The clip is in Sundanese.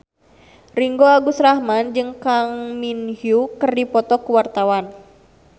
Ringgo Agus Rahman jeung Kang Min Hyuk keur dipoto ku wartawan